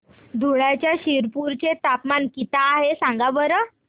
धुळ्याच्या शिरपूर चे तापमान किता आहे सांगा बरं